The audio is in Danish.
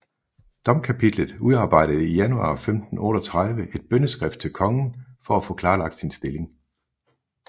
Domkapitlet udarbejde i januar 1538 et bønneskrift til kongen for at få klarlagt sin stilling